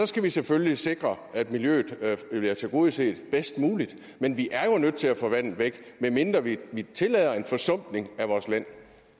skal vi selvfølgelig sikre at miljøet bliver tilgodeset bedst muligt men vi er jo nødt til at få vandet væk medmindre vi vil tillade en forsumpning af vores land